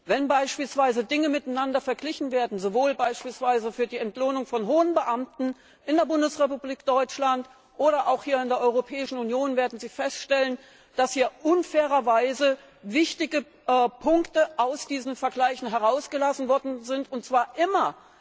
Wenn Dinge miteinander verglichen werden, sowohl beispielsweise für die Entlohnung von hohen Beamten in der Bundesrepublik Deutschland als auch in der Europäischen Union, werden Sie feststellen, dass hier unfairerweise wichtige Punkte aus diesen Vergleichen herausgelassen worden sind, und zwar immer